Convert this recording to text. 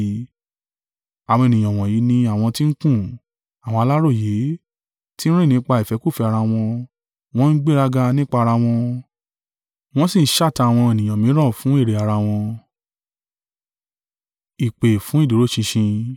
Àwọn ènìyàn wọ̀nyí ní àwọn ti ń kùn, àwọn aláròyé, ti ń rìn nípa ìfẹ́kúfẹ̀ẹ́ ara wọn; wọn ń gbéraga nípa ara wọn, wọ́n sì ń ṣátá àwọn ènìyàn mìíràn fún èrè ara wọn.